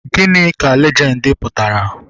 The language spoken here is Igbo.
Gịnị ka lejendi pụtara?